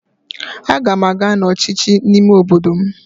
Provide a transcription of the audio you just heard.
Aga m aga n'ọchịchị ime obodo m